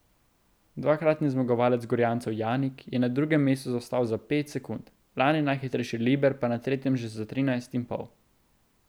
Dvakratni zmagovalec Gorjancev Janik je na drugem mestu zaostal za pet sekund, lani najhitrejši Liber pa na tretjem že za trinajst in pol.